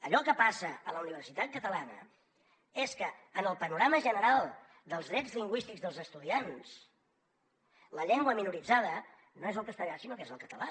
allò que passa a la universitat catalana és que en el panorama general dels drets lingüístics dels estudiants la llengua minoritzada no és el castellà sinó que és el català